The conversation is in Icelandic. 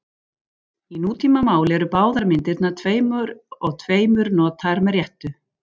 Í nútímamáli eru báðar myndirnar tveim og tveimur notaðar með réttu.